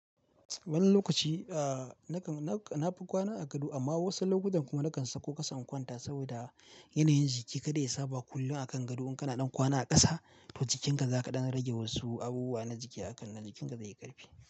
Wani lokaci na fi kwana a gado amma wasu lokutan kuma nakan sakko kasa in kwanta saboda yanayin jiki kada ya saba kullum a kan gado. In kana ɗan kwana a ƙasa, to jikinka za ka ɗan rage wasu abubuwa na jiki, haka nan jikinka zai yi ƙarfi.